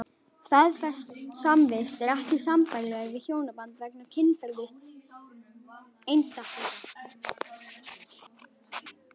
Staðfest samvist er ekki sambærileg við hjónaband vegna kynferðis einstaklinganna.